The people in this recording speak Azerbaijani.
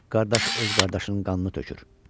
Qardaş öz qardaşının qanını tökür.